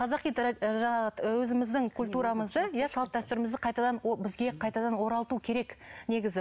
қазақи жаңағы ыыы өзіміздің культурамызды иә салт дәстүрімізді қайтадан бізге қайтадан оралту керек негізі